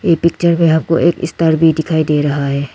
ए picture में आपको एक स्टार भी दिखाई दे रहा है।